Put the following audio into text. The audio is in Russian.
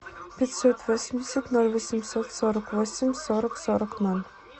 пятьсот восемьдесят ноль восемьсот сорок восемь сорок сорок ноль